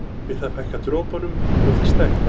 Við það fækkar dropunum og þeir stækka.